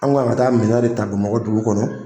An kun kan ka taa minɛn de ta bamakɔ dugu kɔnɔ.